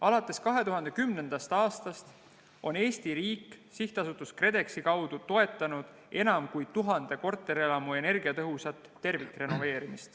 Alates 2010. aastast on Eesti riik SA KredExi kaudu toetanud enam kui 1000 korterelamu energiatõhusat tervikrenoveerimist.